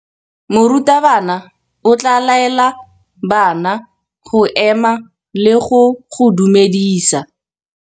Morutabana o tla laela bana go ema le go go dumedisa.